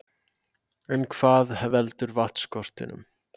En hvað veldur vatnsskortinum?